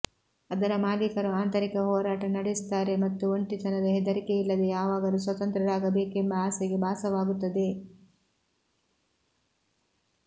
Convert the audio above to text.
ಅದರ ಮಾಲೀಕರು ಆಂತರಿಕ ಹೋರಾಟ ನಡೆಸುತ್ತಾರೆ ಮತ್ತು ಒಂಟಿತನದ ಹೆದರಿಕೆಯಿಲ್ಲದೆ ಯಾವಾಗಲೂ ಸ್ವತಂತ್ರರಾಗಬೇಕೆಂಬ ಆಸೆಗೆ ಭಾಸವಾಗುತ್ತದೆ